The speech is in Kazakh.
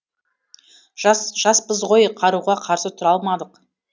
жас жаспыз ғой қаруға қарсы тұра алмадық